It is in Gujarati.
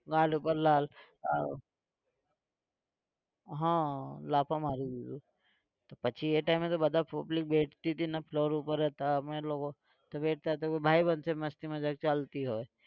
ગાલ ઉપર લાલ હા લાફો મારી દીધો. પછી એ time એ તો બધા public બેસતી હતી ને floor ઉપર. તો અમે લોકો તો બેસતા ભાઈબંધ છે મસ્તી મજાક ચાલતી હોય.